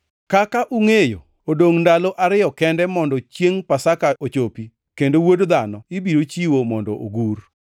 “Kaka ungʼeyo, odongʼ ndalo ariyo kende mondo chiengʼ Pasaka ochopi, kendo Wuod Dhano ibiro chiwo mondo ogur.”